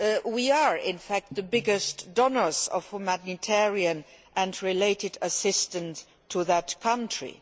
We are, in fact, the biggest donors of humanitarian and related assistance to that country.